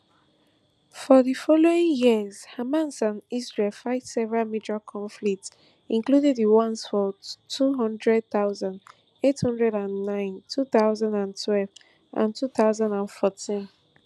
for di following years hamas and israel fight several major conflicts including di ones for two hundred thousand, eight hundred and nine two thousand and twelve and two thousand and fourteen